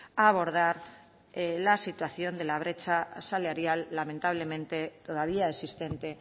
a abordar la situación de la brecha salarial lamentablemente todavía existente